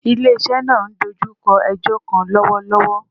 Ile-iṣẹ naa n dojukọ ẹjọ kan lọwọlọwọ